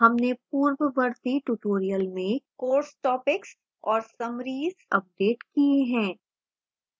हमने पूर्ववर्ती tutorials में course topics और summaries अपडेट किए हैं